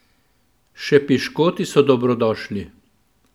Še piškoti so dobrodošli!